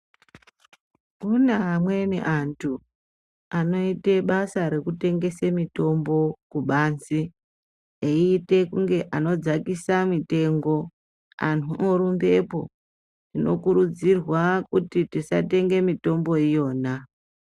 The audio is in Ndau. Kune amweni antu anoita basa rekutengesa mitombo eite kunge anodzakisa mitengo antu orumbepo tinokurudzirwa kuti tisatenga mitombo iyona.